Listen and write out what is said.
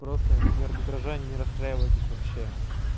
просто из-за арбитража не расстраивайтесь вообще